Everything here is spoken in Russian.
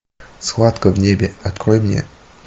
схватка в небе открой мне